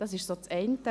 Das ist das eine.